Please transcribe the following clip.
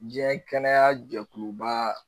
Diɲɛ kɛnɛya jɛkuluba